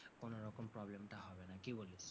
কোন রকম problem টা হবে না, কি বলিস?